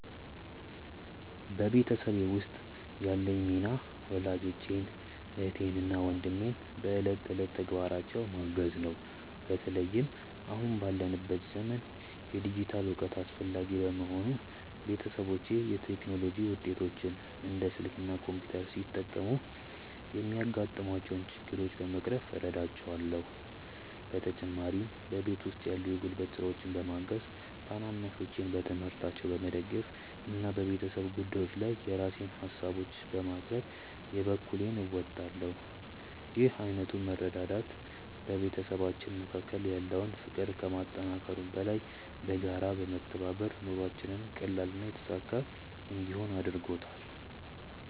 በቤተሰቤ ውስጥ ያለኝ ሚና ወላጆቼን፣ እህትና ወንድሜን በዕለት ተዕለት ተግባራቸው ማገዝ ነው። በተለይም አሁን ባለንበት ዘመን የዲጂታል እውቀት አስፈላጊ በመሆኑ፣ ቤተሰቦቼ የቴክኖሎጂ ውጤቶችን (እንደ ስልክ እና ኮምፒውተር) ሲጠቀሙ የሚያጋጥሟቸውን ችግሮች በመቅረፍ እረዳቸዋለሁ። በተጨማሪም በቤት ውስጥ ያሉ የጉልበት ስራዎችን በማገዝ፣ ታናናሾቼን በትምህርታቸው በመደገፍ እና በቤተሰብ ጉዳዮች ጊዜ የራሴን ሃሳቦችን በማቅረብ የበኩሌን እወጣለሁ። ይህ ዓይነቱ መረዳዳት በቤተሰባችን መካከል ያለውን ፍቅር ከማጠናከሩም በላይ፣ በጋራ በመተባበር ኑሯችንን ቀላልና የተሳካ እንዲሆን አድርጎታል።